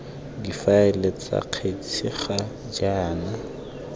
difaele tsa kgetse ga jaana